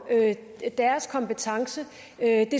deres kompetence